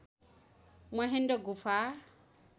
महेन्द्र गुफा